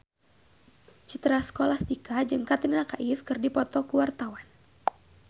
Citra Scholastika jeung Katrina Kaif keur dipoto ku wartawan